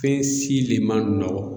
Fɛn si le ma nɔgɔ.